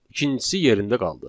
İkincisi yerində qaldı.